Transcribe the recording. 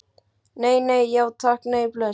Nei, nei, já takk, nei, bless.